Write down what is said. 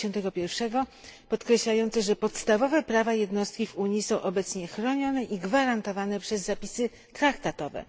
51, podkreślające, że podstawowe prawa jednostki w Unii są obecnie chronione i gwarantowane przez zapisy traktatowe.